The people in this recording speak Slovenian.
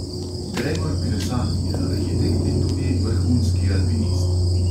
Gregor kresal je arhitekt in tudi vrhunski alpinist.